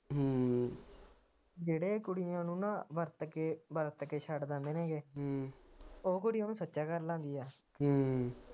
ਜਿਹੜੇ ਕੁੜੀਆਂ ਨੂੰ ਨਾ ਵਰਤ ਕੇ ਵਰਤ ਕੇ ਛੱਡ ਦਿੰਦੇ ਨੇ ਗ ਉਹ ਕੁੜੀ ਉਹਨੂੰ ਸੱਚਾ ਕਰਨ ਲੱਗ ਦੀ